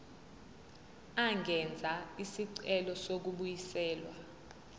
angenza isicelo sokubuyiselwa